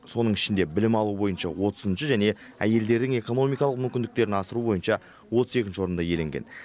соның ішінде білім алу бойынша отызыншы және әйелдердің экономикалық мүмкіндіктерін асыру бойынша отыз екінші орынды иеленген